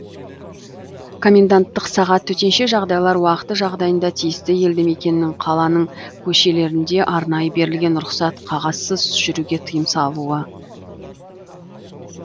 коменданттық сағат төтенше жағдайлар уақыты жағдайында тиісті елді мекеннің қаланың көшелерінде арнайы берілген рұқсат қағазсыз жүруге тыйым салуы